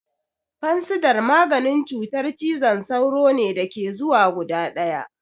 Fansidar maganin cutar cizon sauro ne da ke zuwa guda ɗaya.